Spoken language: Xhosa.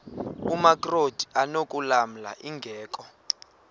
amakrot anokulamla ingeka